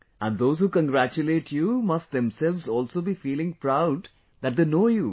And those who congratulate you must themselves also be feeling proud that they know you